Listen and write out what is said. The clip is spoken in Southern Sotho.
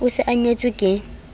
o se a nyetswe ke